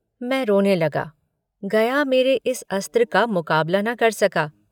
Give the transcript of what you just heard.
मैं रोने लगा। गया मेरे इस अस्त्र का मुकाबला न कर सका।